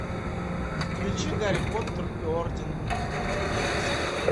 включи гарри поттер и орден феникса